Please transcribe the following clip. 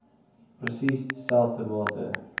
presies dieselfde mate